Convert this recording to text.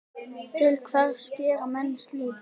Til hvers gera menn slíkt?